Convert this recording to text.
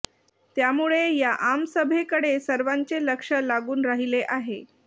त्यामुळे या आमसभेकडे सर्वांचे लक्ष लागून राहिले आहे